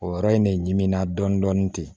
O yɔrɔ in de ɲinɛna dɔɔnin dɔɔnin ten